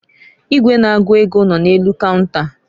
Igwe na-agụ ego nọ n'elu kaunta.